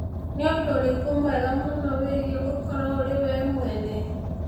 Nĩ ũndũ ũrĩkũ mwega mũno wĩgiĩ gũkorũo ũrĩ we mwene